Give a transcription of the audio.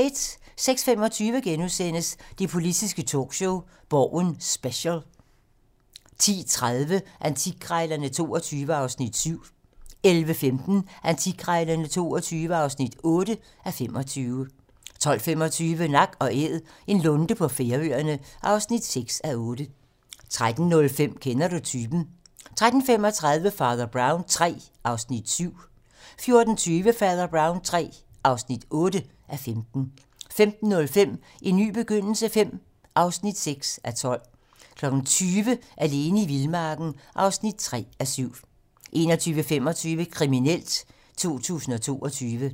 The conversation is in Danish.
06:25: Det politiske talkshow - Borgen special * 10:30: Antikkrejlerne XXII (7:25) 11:15: Antikkrejlerne XXII (8:25) 12:25: Nak & Æd - en lunde på Færøerne (6:8) 13:05: Kender du typen? 13:35: Fader Brown III (7:15) 14:20: Fader Brown III (8:15) 15:05: En ny begyndelse V (6:12) 20:00: Alene i vildmarken (3:7) 21:25: Kriminelt 2022